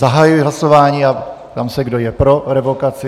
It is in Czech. Zahajuji hlasování a ptám se, kdo je pro revokaci.